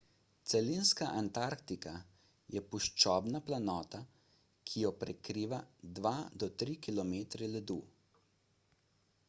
celinska antarktika je puščobna planota ki jo prekriva 2–3 km ledu